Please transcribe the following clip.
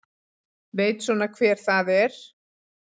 Veit svona hver það er.